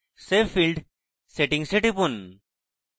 save field settings এ টিপুন